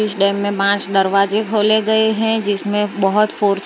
इस डैम में पांच दरवाजे खोले गए हैं जिसमें बहुत फोर्स --